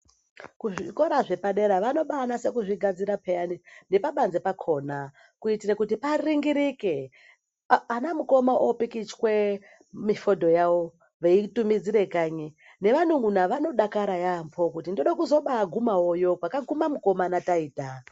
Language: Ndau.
Kuzvikora zvepadera, vanobaanase kuzvigadzira pheyani, nepabanze pakhona, kuitire kuti paringirike, anamukoma oopikichwe mifodho yawo veiitumidzire kanyi, nevanun'una vanodakara yaampho kuti ndode kuzobaagumawoyo, kwakagume mukoma nataita.